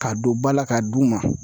K'a don ba la k'a d'u ma.